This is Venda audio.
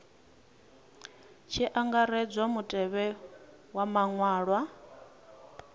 tshi angaredzwa mutevhe wa maṅwalwa